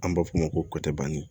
An b'a f'o ma ko kɔci banni